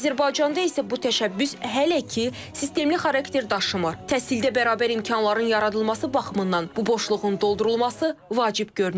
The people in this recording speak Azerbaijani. Azərbaycanda isə bu təşəbbüs hələ ki sistemli xarakter daşımır, təhsildə bərabər imkanların yaradılması baxımından bu boşluğun doldurulması vacib görünür.